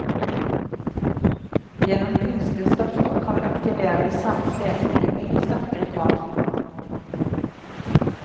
Gjennom kunstige stoffer, kan vi aktivere de samme stedene i mye sterkere grad.